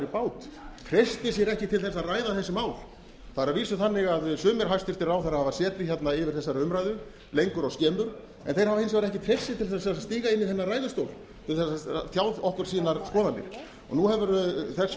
bát treystir sér ekki til að ræða þessi mál það er að vísu þannig að sumir hæstvirtir ráðherrar hafa setið yfir þessari umræðu lengur og skemur en þeir hafa hins vegar ekki níu treyst sér til að stíga inn í þennan ræðustól til að tjá okkur sínar skoðanir nú hefur þess verið